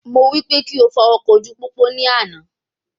Mo wí pé kí o fọ ọkọ̀ ojú pópó náà ní àna